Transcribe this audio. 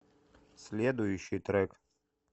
следующий трек